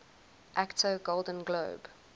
actor golden globe